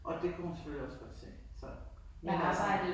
Og det kunne hun selvfølgelig også godt se så men altså